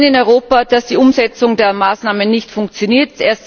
Wir sehen in Europa, dass die Umsetzung der Maßnahmen nicht funktioniert.